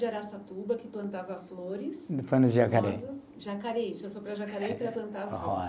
De Araçatuba, que plantava flores. Foi no Jacaré. Jacareí, o senhor foi para Jacareí para plantar as flores.